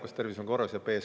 Kas tervis on korras?